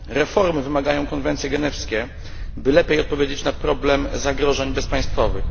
Reformy wymagają konwencje genewskie, by lepiej odpowiedzieć na problem zagrożeń bezpaństwowych.